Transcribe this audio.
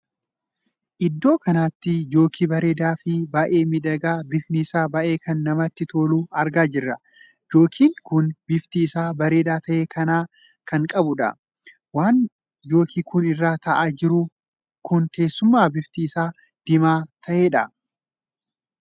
Iddoo kanatti jookii bareedaa fi baay'ee miidhagaa bifni isaa baay'ee kan namatti toluu argaa jira. jookiin kun bifti isaa bareedaa tahe kan qabudha. waan jookiin kun irra taa'aa jiru kun teessuma bifti isaa diimaa taheedha.